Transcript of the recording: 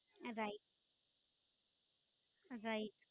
ના, right right